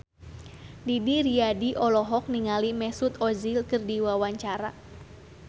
Didi Riyadi olohok ningali Mesut Ozil keur diwawancara